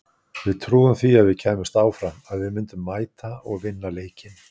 Við trúðum því að við kæmumst áfram, að við myndum mæta og vinna leikinn.